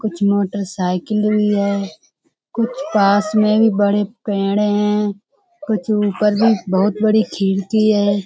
कुछ मोटरसाइकिल भी है। कुछ पास में बड़े पेड़ हैं। कुछ ऊपर बहुत बड़ी खिड़की है।